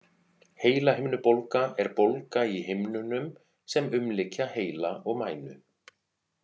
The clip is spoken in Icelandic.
Heilahimnubólga er bólga í himnunum sem umlykja heila og mænu.